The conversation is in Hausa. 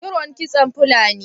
iron kitson Fulani.